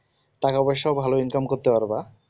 টাকা পয়সা ভালো income করতে পারবা